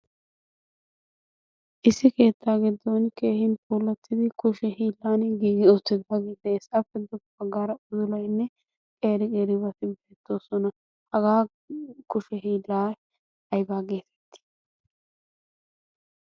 issi keettaa giddon keehin puulattidi kushe hiilan giigi oottiidu hagii de'eessappe doqo baggaara udulaynne qeeri qeeribati beettoosona. hagaa kushe hiilaay aybaa geetettii?